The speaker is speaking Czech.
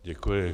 Děkuji.